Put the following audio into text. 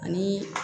Anii